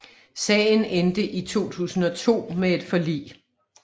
Sagen endte i 2002 med et forlig